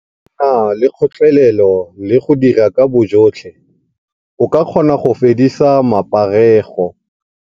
Nna le kgotlelelo le go dira ka bojotlhe, o ka kgona go fedisa maparego.